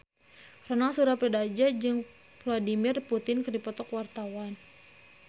Ronal Surapradja jeung Vladimir Putin keur dipoto ku wartawan